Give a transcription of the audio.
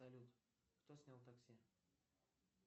салют кто снял такси